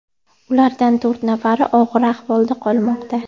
Ulardan to‘rt nafari og‘ir ahvolda qolmoqda.